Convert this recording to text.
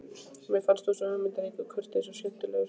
Mér fannst þú svo hugmyndaríkur, kurteis og skemmtilegur.